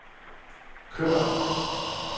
kør